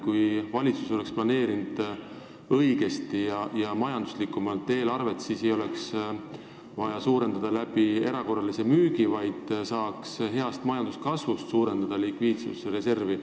Kui valitsus oleks targemini ja majanduslikumalt mõeldes eelarve koostanud, siis ei oleks vaja seda suurendada riigi vara erakorralise müügi abil, likviidsusreservi saaks kasvatada tänu majanduskasvule.